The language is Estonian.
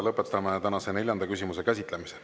Lõpetame tänase neljanda küsimuse käsitlemise.